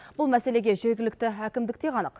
бұл мәселеге жергілікті әкімдік те қанық